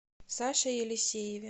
саше елисееве